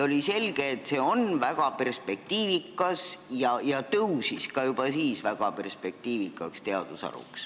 Oli selge, et see on väga perspektiivikas, ja see sai juba siis väga perspektiivikaks teadusharuks.